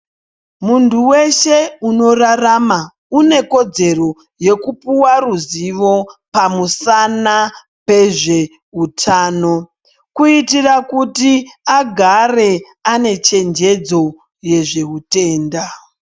Muntu weshe unorarama unekodzero yekupuwa ruzivo pamusana pezveutano kuitira kuti agare ane chenjedzo yezveutenda.